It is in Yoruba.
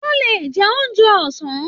Wọn lọ jẹ oúnjẹ ọsán.